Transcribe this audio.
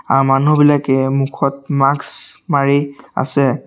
তাৰ মানুহ বিলাকে মুখত মাক্স মাৰি আছে।